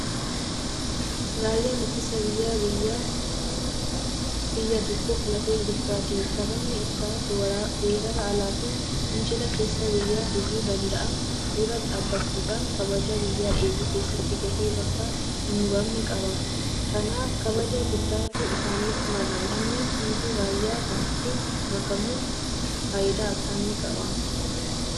Raayyaan ittisa biyyaa biyyaa biyya tokkoof lafee dugdaati. Sababni isaas weerara alaafi fincila keessaa biyya hubuu danda'an dura dhaabbachuudhaan kabaja biyyaa eeguu keessatti gahee bakka hinbu'amne qaba. Kanaaf kabaja guddaatu isaaniif mala. Lammiin hundi raayyaa kanatti makamuun faayidaa akkamii qaba?